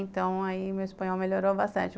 Então, aí meu espanhol melhorou bastante.